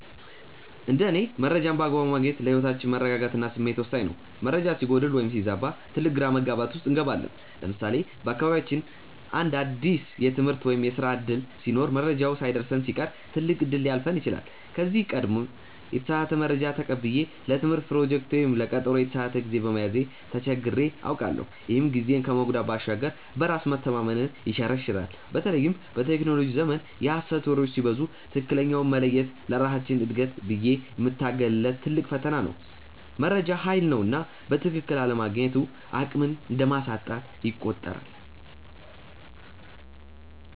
እንደ እኔ መረጃን በአግባቡ ማግኘት ለህይወት መረጋጋት እና ስኬት ወሳኝ ነው። መረጃ ሲጎድል ወይም ሲዛባ ትልቅ ግራ መጋባት ውስጥ እንገባለን። ለምሳሌ በአካባቢያችን አንድ አዲስ የትምህርት ወይም የስራ ዕድል ሲኖር መረጃው ሳይደርሰን ሲቀር ትልቅ እድል ሊያልፈን ይችላል። ከዚህ ቀደም የተሳሳተ መረጃ ተቀብዬ ለትምህርት ፕሮጀክቴ ወይም ለቀጠሮዬ የተሳሳተ ጊዜ በመያዜ ተቸግሬ አውቃለሁ፤ ይህም ጊዜን ከመጉዳት ባሻገር በራስ መተማመንን ይሸረሽራል። በተለይም በቴክኖሎጂው ዘመን የሐሰት ወሬዎች ሲበዙ ትክክለኛውን መለየት ለራሳችን እድገት ብዬ የምታገልለት ትልቅ ፈተና ነው። መረጃ ሃይል ነውና በትክክል አለማግኘቱ አቅምን እንደማሳጣት ይቆጠራል።